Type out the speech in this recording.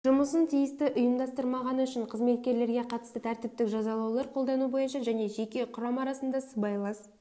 жұмысын тиісті ұйымдастырмағаны үшін қызметкерлерге қатысты тәртіптік жазалаулар қолдану бойынша және жеке құрам арасында сыбайлас